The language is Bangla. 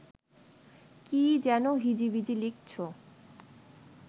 কী যেন হিজিবিজি লিখছ